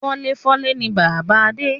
Fọ́léfọ́lé ni bàbá Adé